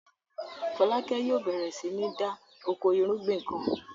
Fọlákẹ́ yóò bẹ̀rẹ̀ sí ní da oko ìrúgbìn kan.